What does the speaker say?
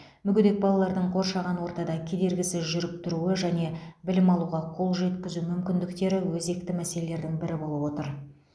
мүгедек балалардың қоршаған ортада кедергісіз жүріп тұруы және білім алуға қол жеткізу мүмкіндіктері өзекті мәселелердің бірі болып отыр